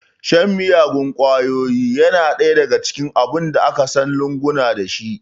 Sha miyagun ƙwayoyi yana ɗaya daga cikin abun da aka san lunguna dashi